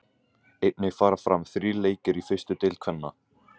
Einnig fara fram þrír leikir í fyrstu deild kvenna.